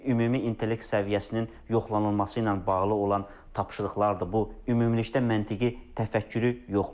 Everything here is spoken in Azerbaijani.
ümumi intellekt səviyyəsinin yoxlanılması ilə bağlı olan tapşırıqlardır bu ümumilikdə məntiqi təfəkkürü yoxlayır.